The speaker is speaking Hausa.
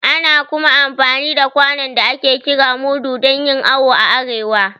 Ana kuma amfani da kwanon da ake kira mudu dan yin awo a arewa